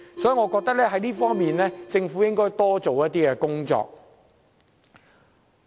所以，我認為政府應在這方面多做工作。